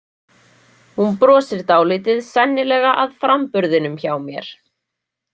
Hún brosir dálítið, sennilega að framburðinum hjá mér.